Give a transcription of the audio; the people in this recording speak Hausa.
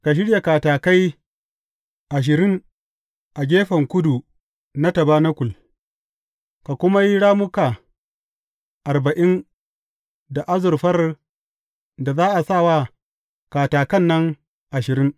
Ka shirya katakai ashirin a gefen kudu na tabanakul, ka kuma yi rammuka arba’in da azurfar da za a sa wa katakan nan ashirin.